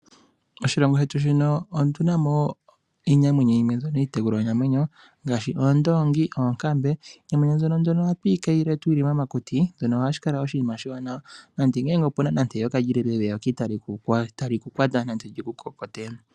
Oshilongo shetu muno otu na mo iinamwenyo yimwe mbyono iitekulwanamwenyo, ngaashi oondongi, oonkambe. Iinamwenyo mbyono ohatu ti kayile tuli momakuti, shono hashi kala oshinima oshiwanawa. Nande ngele ope na nande eyoka, eyoka itali ku kwata nande li ku kokote.